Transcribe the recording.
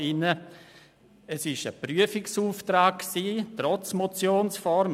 Es war ein Prüfungsauftrag, trotz der Motionsform.